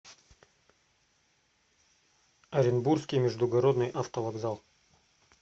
оренбургский междугородный автовокзал